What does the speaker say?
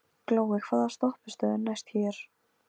Valdar hafa verið ákveðnar steindir til að einkenna hvert stig.